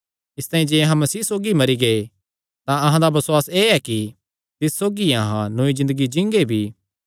इसतांई जे अहां मसीह सौगी मरी गै तां अहां दा बसुआस एह़ ऐ कि तिस सौगी अहां नौई ज़िन्दगी जींगे भी